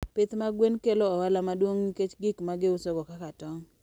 Pith mag gwen kelo ohala maduong' nikech gik ma giusogo kaka tong'.